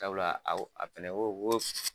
Sabula a fɛnɛ ko ko